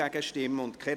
Geschäft 2018.RRGR.623